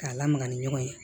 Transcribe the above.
K'a lamaga ni ɲɔgɔn ye